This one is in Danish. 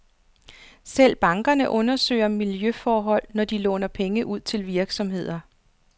Selv bankerne undersøger miljøforhold, når de låner penge ud til virksomheder.